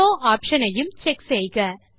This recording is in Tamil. ஷோவ் ஆப்ஷன் ஐயும் செக் செய்க